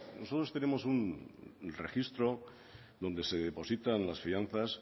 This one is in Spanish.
nosotros tenemos un registro donde se depositan las fianzas